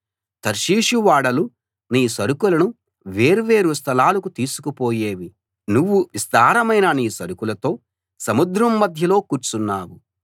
తర్షీషు ఓడలు నీ సరుకులను వేర్వేరు స్థలాలకు తీసుకుపోయేవి నువ్వు విస్తారమైన నీ సరుకులతో సముద్రం మధ్యలో కూర్చున్నావు